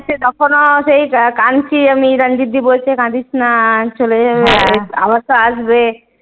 তখনও সেই কাঁনছি আমি রাঞ্জিত দিদি বলছে কাঁদিস না চলে যাবে আবার তো আসবে।